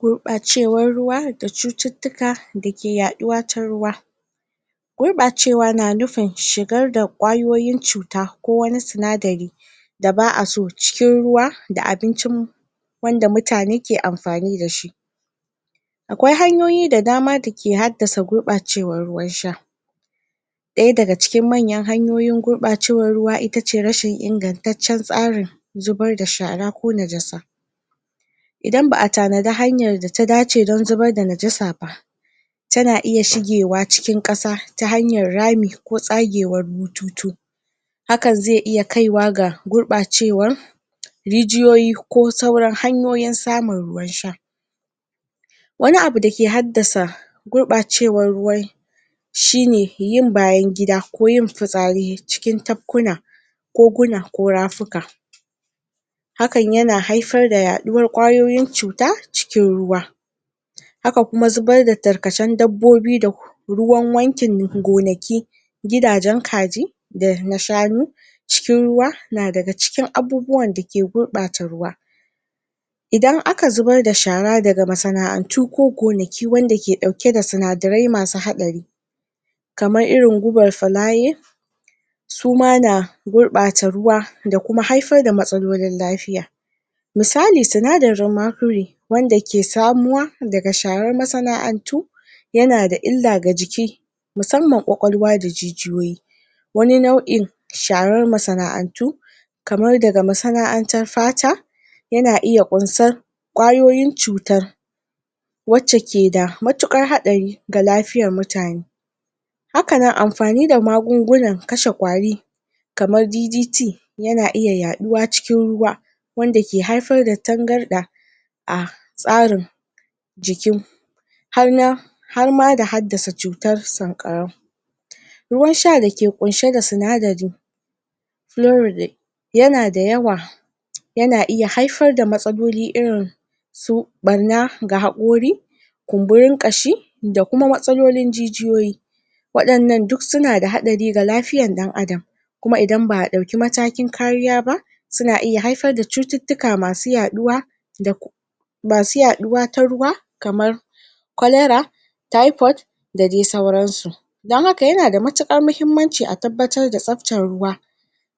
gurbacewar ruwa da cututtuka dake yaduwa ta ruwa gurbacewa na nufin shigar da kayoyin cuta ko wani sinadari da ba'aso cikin ruwa da abincin mu wanda mutane ke amfani da shi akwai hanyoyi da dama da ke haddasa gurbacewan ruwan sha daya daga ciki manyan hanyoyin gurbacewan ruwa itace rashin inganttacen tsarin zubar da shara ko najasa idan ba'a tanaji hanyan da ta dace don zubar da najasa ba tana iya shiga cikin kasa ta hanyar rami ko tsagewar bututu hakan zai iya kaiwa ga gurbacewa rijiyoyi ko kuma wasu hanyoyin samun ruwan sha wani abu da ke hadda sa gurbacewar ruwan yin bayan gida ko fitsari cikin tafkuna ko guna ko rafuka hakan yana haifar da yaduwar kayoyin cuta cikin ruwa haka kuma zubar da tarkacen daddobi ruwan wankin gonaki gidajen kaji dana shanu cikin ruwa na da cikin abubuwan da ke gurbata ruwa idan aka zubar da shara daga masa'antu ko gonaki wanda ke dauke sinadarai masu hadari kamar irin gubar fulaye suma na gurbata ruwa da kuma haifar da matsalolin lafiya misali sinadarin macury wanda ke samu wa daga sharar masa'antu yana da illa ga jiki musamman kwakwalwa da jijiyoyi wani nau'in sharar masa'antu kamar daga masa'antar fata yana iya kunsar kwayoyin cutar wacce ke da matukar hadari da lafiyar mutane haka nan amfani da magungunan kashe kwari kamar ddt yana iya yaduwa cikin ruwa wanda ke haifar da tangarda a tsarin jiki har na harma da hadda sa cutar sankarau ruwan sha da ke kunshe da sinadari yana da yawa yana iya haifar da matsaloli irin su barna ga haqori kumburin kashi da kuma matsalolin jijyoyi wadannan duk suna da hadari ga lafiyar dan adam kuma idan ba'a dauki matakin kariya ba suna iya haifar da cuttutuka masu yaduwa masu yaduwa ta ruwa kamar cholera typhod da dai sauransu don haka yana muhimmanci a tabbatar da tsaftar ruwa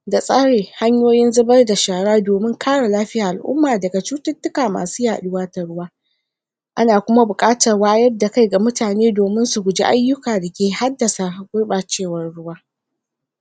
da tsari hanyoyin zubar da shara domin kare lafiyar al'umman daga cuttuka masu yaduwa da ana kuma bukatar wayar da kai ga mutane domin ayyukan ke haddasa gubacewar ruwa